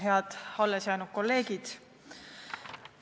Head allesjäänud kolleegid!